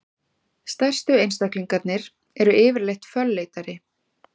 Stærstu einstaklingarnir eru yfirleitt fölleitari.